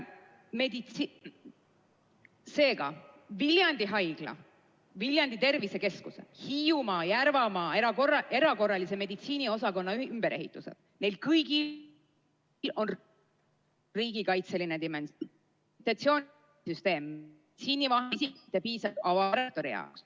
Seega, Viljandi Haigla, Viljandi Tervisekeskuse, Hiiumaa ja Järvamaa erakorralise meditsiini osakonna ümberehitused – neil kõigil on riigikaitseline dimensioon.